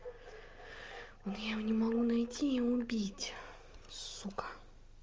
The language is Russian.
но я его не могу найти и убить сука